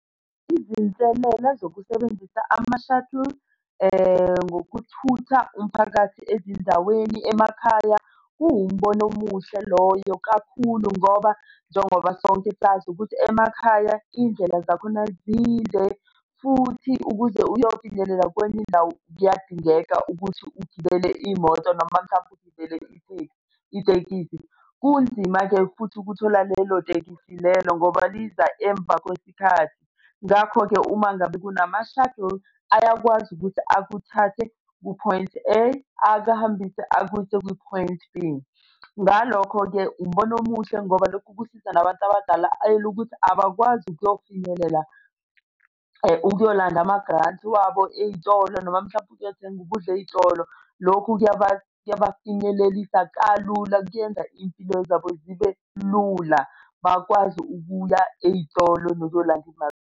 Izinselela zokusebenzisa ama-shuttle ngokuthutha umphakathi ezindaweni emakhaya. Kuwumbono omuhle loyo kakhulu ngoba njengoba sonke sazi ukuthi emakhaya iy'ndlela zakhona zinde futhi ukuze uyofinyelela kwenye indawo, kuyadingeka ukuthi ugibele imoto noma mhlampe ugibele i-taxi, itekisi. Kunzima-ke futhi ukuthola lelo tekisi lelo ngoba liza emva kwesikhathi. Ngakho-ke uma ngabe kunama-shuttle ayakwazi ukuthi akuthathe ku-point A akuhambise akuyise ku-point B. Ngalokho-ke umbono omuhle ngoba lokho kusiza nabantu abadala elukuthi abakwazi ukuyofinyelela ukuyolanda ama-grant wabo ey'tolo noma mhlampe ukuyothenga ukudla ey'tolo. Lokhu kuyabafinyelelisa kalula kuyenza iy'mpilo zabo zibe lula bakwazi ukuya ey'tolo nokuyilanda imali.